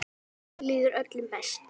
Þannig líður öllum best.